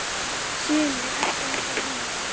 Sumu er ekki hægt að venjast.